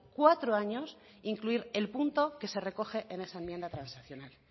cuatro años incluir el punto que se recoge en esa enmienda transaccional